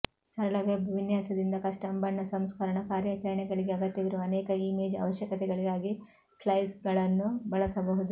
ಸರಳ ವೆಬ್ ವಿನ್ಯಾಸದಿಂದ ಕಸ್ಟಮ್ ಬಣ್ಣ ಸಂಸ್ಕರಣ ಕಾರ್ಯಾಚರಣೆಗಳಿಗೆ ಅಗತ್ಯವಿರುವ ಅನೇಕ ಇಮೇಜ್ ಅವಶ್ಯಕತೆಗಳಿಗಾಗಿ ಸ್ಲೈಸ್ಗಳನ್ನು ಬಳಸಬಹುದು